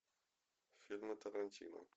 фильмы тарантино